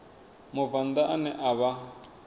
mubvann ḓa ane a vha